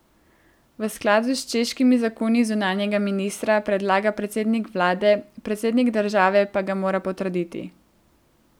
V skladu s češkimi zakoni zunanjega ministra predlaga predsednik vlade, predsednik države pa ga mora potrditi.